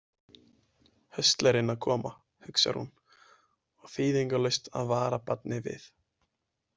Höstlerinn að koma, hugsar hún, og þýðingarlaust að vara barnið við.